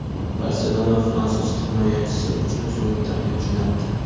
"Barselona" fransuz himoyachisi uchun so‘nggi taklif jo‘natdi.